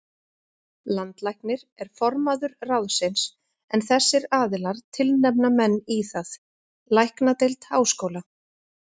Landlæknir er formaður ráðsins, en þessir aðilar tilnefna menn í það: Læknadeild Háskóla